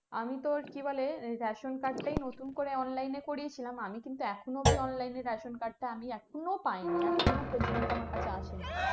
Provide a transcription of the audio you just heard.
আমি তোর কি বলে ration card টাই নতুন করে online এ করিয়ে ছিলাম এখনো অব্দি online এর ration card টা এখনো পাইনি এখনো পযন্ত আমার কাছে আসেনি